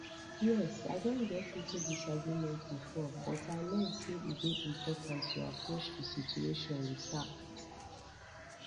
yes i don get into disagreement before but i learn say e dey important to approach di situation with tact